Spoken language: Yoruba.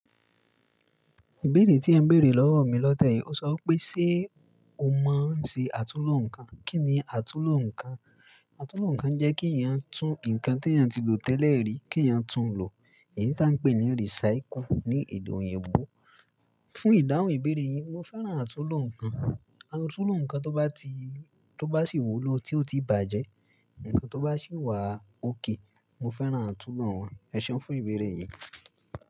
Ìbéèrè tí ẹ n bèèrè lọ́wọ́ mi lọ́tẹ́ẹ̀yì, ó sọ wípé ṣé o mọ̀ se àtúnlo nǹkan? Kí ni àtúnlo nǹkan? Àtúnlo nǹkan jẹ́ kí èèyàn tún nǹkan tí èèyàn ti lò tẹ́lẹ̀ rí, kí èèyàn tún lò. Èyí táa ń pè ní recycle ní èdè òyìnbó. Fún ìdáhùn ìbéèrè yìí, mo fẹ́ràn àtúnlo nǹkan. Àtúnlo nǹkan tó bá sì wúlò tí ó ti bàjẹ́, nǹkan tó bá sì wà ókè. Mo fẹ́ràn àtúnlo wọn. Ẹ ṣéun fún ìbéèrè yìí.